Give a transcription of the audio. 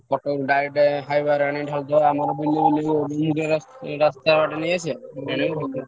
Cuttack direct highway ରେ ଅନି ଢାଳିଦବା ରାସ୍ତା ବାଟେ ନେଇଆସିବା ।